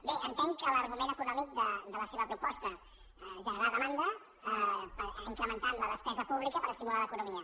bé entenc que l’argument econòmic de la seva proposta és generar demanda incrementant la despesa pública per estimular l’economia